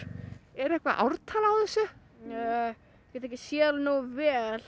er eitthvað ártal á þessu ég get ekki séð það nógu vel